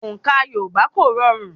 Òǹkà Yorùbá kò rọrùn.